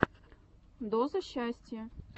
доза счастья